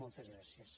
moltes gràcies